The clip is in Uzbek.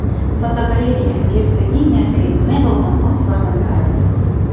Fotogalereya: Gersoginya Keyt Middlton o‘z farzandlari bilan.